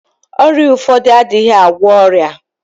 Ọrịa ụfọdụ adịghị agwọ ọrịa.